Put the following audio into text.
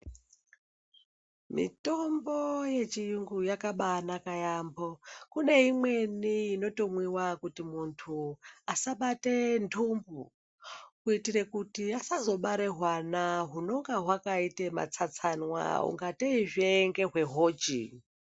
Mitombo yechiyungu yakabanaka yaamho. Kune imweni inotomwiwa kuti muntu asabate ntumbu, kuitire kuti asazobare hwana hunonga hwakaite matsatsanwa ungateizve ngehwehochi.